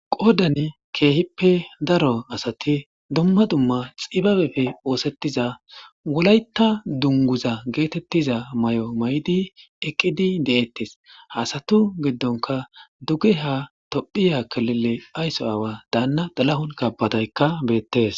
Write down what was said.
qoodan keehippe daro asati dumma dumma xibabepfe oosettiza wolayta dunguza geetettiza may7o may7di eqqidi de7ettes hasatu giddonka dugge ha tophiya kalele aysso aawa daanna dalahun kabadaykka beettes